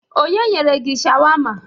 Onye nyere gi shawama?